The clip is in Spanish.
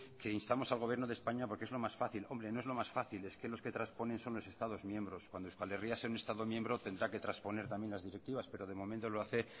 que instamos al gobierno de españa porque es lo más fácil hombre no es lo más fácil es que lo que transponen son los estados miembros cuando euskal herria sea un estado miembro tendrá que transponer también las directivas pero de momento lo hace